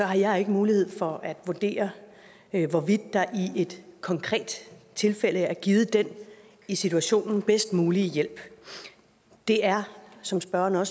har jeg ikke mulighed for at vurdere hvorvidt der i et konkret tilfælde er givet den i situationen bedst mulige hjælp det er som spørgeren